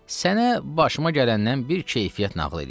Sənə başıma gələndən bir keyfiyyət nağıl eləyim.